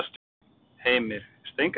Heimir: Steingrímur?